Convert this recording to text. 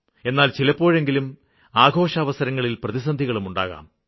എന്നാല് ചിലപ്പോഴെങ്കിലും ആഘോഷാവസരങ്ങളില് പ്രതിസന്ധികളും ഉണ്ടാകാം